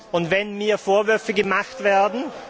Und wenn mir Vorwürfe gemacht werden